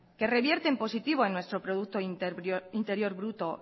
que revierte en positivo en nuestro producto interior bruto